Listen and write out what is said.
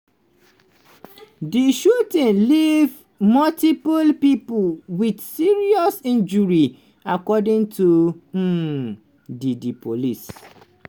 di shooting leave multiple pipo wit serious injury according to um di di police.